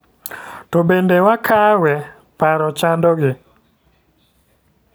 To bende wakawe? Paro chando gi.